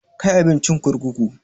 Kai abincin kurkuku!